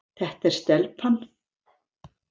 Þetta er stelpan.